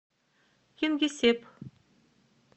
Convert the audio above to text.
кингисепп